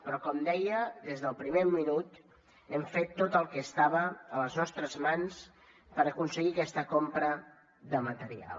però com deia des del primer minut hem fet tot el que estava a les nostres mans per aconseguir aquesta compra de material